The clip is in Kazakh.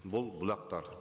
бұл бұлақтар